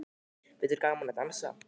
Finnst þér gaman að dansa?